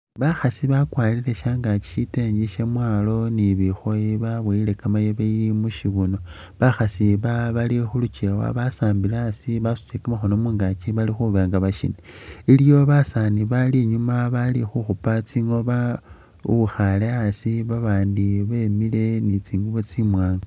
Bakhasi bakwarire shangaaki sitengi syamwaalo ni bikhooyi baboyile kamayibi mu syibuno. Bakhasi aba bali khu lukewa basambile asi basutile kamakhono mungaki bali khuba nga bashing. Iliwo basaani bali inyuuma bali khukhupa tsingoma uwikhaale asi babandi bemile ni tsingubo tsimwaanga.